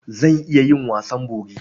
Zan iya yin wasan bori.